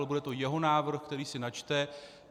Ale bude to jeho návrh, který si načte.